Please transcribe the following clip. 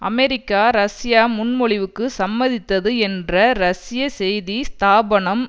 America ரஷ்ய முன்மொழிவுக்கு சம்மதித்தது என்ற ரஷ்ய செய்தி ஸ்தாபனம்